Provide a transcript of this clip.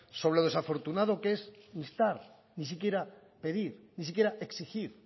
sobre lo desafortunado que es instar ni siquiera pedir ni siquiera exigir